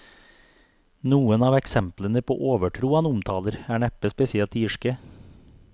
Noen av eksemplene på overtro han omtaler, er neppe spesielt irske.